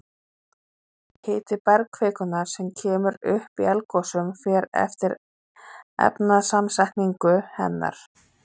Hiti bergkvikunnar sem kemur upp í eldgosum fer eftir efnasamsetningu hennar.